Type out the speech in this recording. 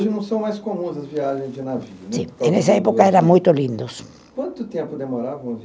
Não são mais comuns as viagens de navio, né? Sim, e nessa época eram muito lindos. Quanto tempo demorava?